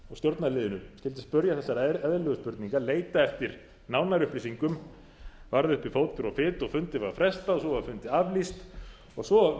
stjórnarliðinu skyldi spyrja þessarar eðlilegu spurningar leita eftir nánari upplýsingum varð uppi fótur og fit og fundi var frestað og svo var fundi aflýst og svo